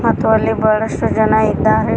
ಮತ್ತು ಅಲ್ಲಿ ಬಹಳಷ್ಟು ಜನ ಇದ್ದಾರೆ.